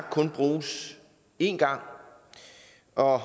kun bruges én gang og